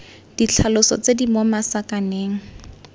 ditlhaloso tse di mo masakaneng